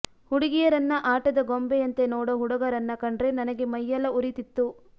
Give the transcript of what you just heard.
ಹುಡುಗಿಯರನ್ನ ಆಟದ ಗೊಂಬೆಯಂತೆ ನೋಡೋ ಹುಡಗರನ್ನ ಕಂಡ್ರೆ ನನಗೆ ಮೈಯೆಲ್ಲಾ ಉರೀತಿತ್ತು